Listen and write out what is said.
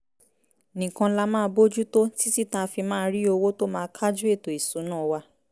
nìkan la máa bójú tó títí tá a fi máa rí owó tó má kájú ètò ìsúná wa